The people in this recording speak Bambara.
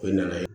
O ye nana ye